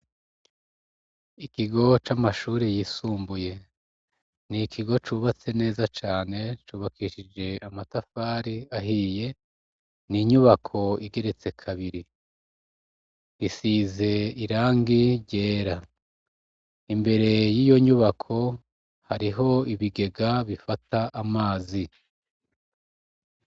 Ikigo c'amashure yisumbuye, ni ikigo cubatse neza cane, cubakishije amatafari ahiye, n'inyubako igeretse kabiri, isize irangi ryera. Imbere yiyo nyubako, hariho ibigega bifata amazi.